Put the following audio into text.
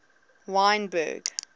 wynberg